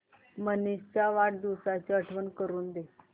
मनीष च्या वाढदिवसाची आठवण करून दे